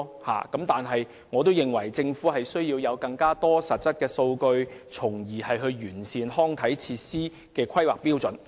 不過，我認為政府需要搜集更多實質數據，從而完善康體設施的規劃標準。